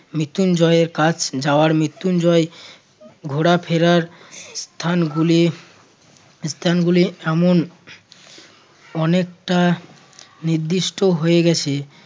মৃত্যুঞ্জয়ের কাছ যাওয়ার মৃত্যুঞ্জয় ঘোরাফেরার স্থানগুলি~ স্থানগুলির এমন অনেকটা নির্দিষ্ট হয়ে গেছে